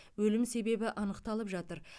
өлім себебі анықталып жатыр